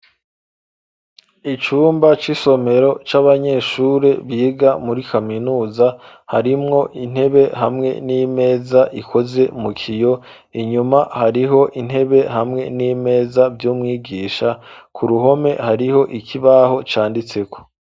Icumba c'isomero c'abanyeshuri biga muri kaminuza ,harimwo intebe hamwe n'imeza ikoze mu kiyo, inyuma hariho intebe hamwe n'imeza vy'umwigisha ,ku ruhome hariho ikibaho canditseko.